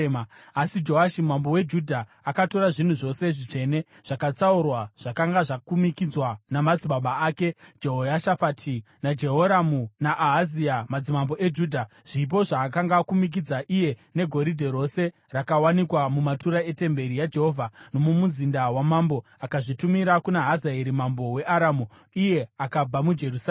Asi Joashi mambo weJudha akatora zvinhu zvose zvitsvene zvakatsaurwa zvakanga zvakumikidzwa namadzibaba ake, Jehoshafati, naJehoramu naAhazia madzimambo eJudha, zvipo zvaakanga akumikidza iye negoridhe rose rakawanikwa mumatura etemberi yaJehovha nomumuzinda wamambo, akazvitumira kuna Hazaeri mambo weAramu, iye akabva muJerusarema.